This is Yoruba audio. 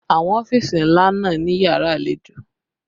Àwọn ọ́fìsì ńlá náà ní yàrá àlejò